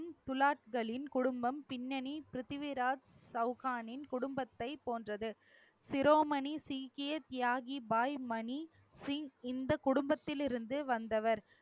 துலாக்களின் குடும்பம், பின்னணி பிருத்திவிராஜ் சௌகானின் குடும்பத்தைப் போன்றது. சிரோமணி, சீக்கிய தியாகி, பாய் மணி, சிங் இந்த குடும்பத்தில் இருந்து வந்தவர்